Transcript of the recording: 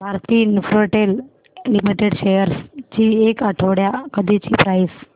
Bharti Infratel limited shares ची एक आठवड्या आधीची प्राइस